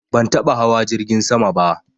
Ban taɓa hawa jirgin sama ba